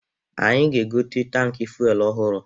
Anyị ga-egote tankị fuelu ọhụrụ.